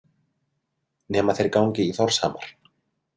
Nema þeir gangi í Þórshamar.